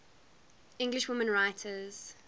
english women writers